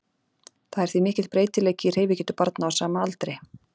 Það er því mikill breytileiki í hreyfigetu barna á sama aldri.